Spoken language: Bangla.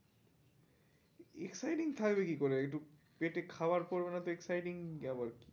Exciting থাকবে কি করে একটু পেটে খাবার পড়বে না তো exciting আবার কি?